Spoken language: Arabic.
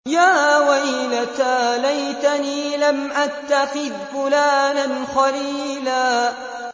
يَا وَيْلَتَىٰ لَيْتَنِي لَمْ أَتَّخِذْ فُلَانًا خَلِيلًا